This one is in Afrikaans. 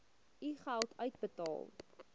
u geld uitbetaal